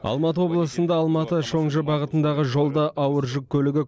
алматы облысында алматы шоңжы бағытындағы жолда ауыр жүк көлігі